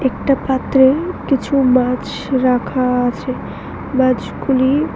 একটা পাত্রে কিছু মাছ রাখা আছে মাছগুলি--